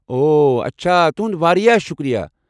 اوہ ، اچھا، ۔ تُہُنٛد واریاہ شٗکریہ۔